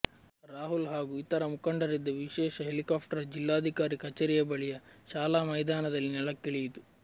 ರಾಹುಲ್ ಹಾಗೂ ಇತರ ಮುಖಂಡರಿದ್ದ ವಿಶೇಷ ಹೆಲಿಕಾಪ್ಟರ್ ಜಿಲ್ಲಾಧಿಕಾರಿ ಕಚೇರಿಯ ಬಳಿಯ ಶಾಲಾ ಮೈದಾನದಲ್ಲಿ ನೆಲಕ್ಕಿಳಿಯಿತು